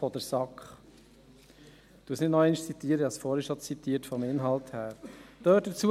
Ich zitiere diese nicht, ich habe dies vorhin in Bezug auf den Inhalt getan.